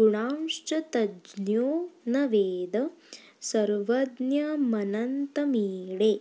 गुणांश्च तज्ज्ञो न वेद सर्वज्ञमनन्तमीडे